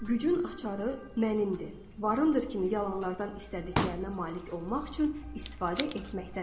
Gücün açarı “mənimdir, varımdır” kimi yalanlardan istədiklərinə malik olmaq üçün istifadə etməkdədir.